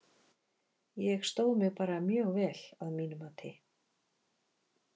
Ég stóð mig bara mjög vel að mínu mati.